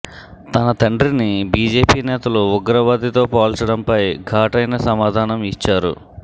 తన తండ్రిని బీజేపీ నేతలు ఉగ్రవాదితో పోల్చడంపై ఘాటైన సమాధానం ఇచ్చారు